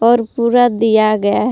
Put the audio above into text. और पूरा दिया गया है।